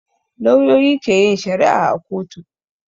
Lauyoyi ke yin shari'a a kotu